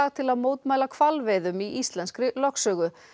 til að mótmæla hvalveiðum í íslenskri lögsögu